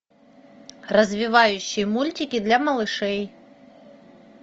развивающие мультики для малышей